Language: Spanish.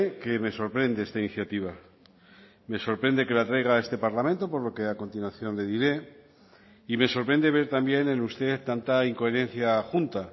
que me sorprende esta iniciativa me sorprende que la traiga a este parlamento por lo que a continuación le diré y me sorprende ver también en usted tanta incoherencia junta